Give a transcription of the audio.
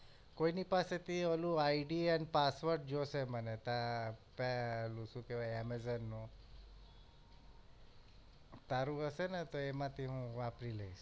કોઈ ની પાસે થી ઓલું ID અને password જોઇશે મને ત ત ઓલું સુ કેહવાય amazon નું તારું હશે ને તો એમાંથી હું વાપરી લઈશ